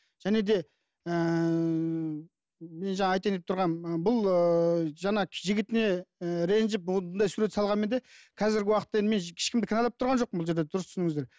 және де ііі мен жаңа айтайын деп тұрғаным бұл ыыы жаңа жігітіне ііі ренжіп осындай сурет салғанмен де қазіргі уақытта енді мен ешкімді кінәлап тұрған жоқпын бұл жерде дұрыс түсініңіздер